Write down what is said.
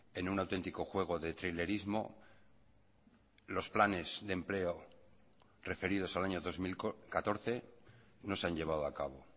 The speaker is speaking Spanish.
en un auténtico juego de trilerismo los planes de empleo referidos al año dos mil catorce no se han llevado a cabo